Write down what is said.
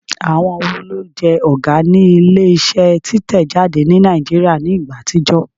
Àwọn wo ló jẹ́ Ọ̀gá ní ilé iṣẹ́ títẹ̀ jáde ní Nàìjíríà ní ìgbà àtijọ́?